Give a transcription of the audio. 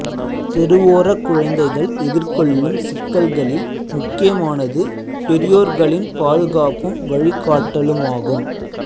தெருவோரக் குழந்தைகள் எதிர்கொள்ளும் சிக்கல்களில் முக்கியமானது பெரியோர்களின் பாதுகாப்பும் வழிகாட்டலுமாகும்